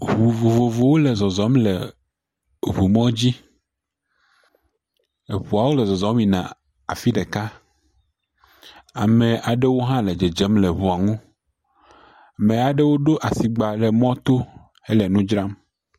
Ŋu vovovowo le zɔzɔm le ŋu mɔdzi. Eŋuawo le zɔzɔm yina afi ɖeka. Ame aɖewo hã le dzedzem le ŋua ŋu. Me aɖewo ɖo asigba le mɔto hele nu dzram.